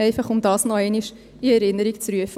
Einfach, um das noch einmal in Erinnerung zu rufen.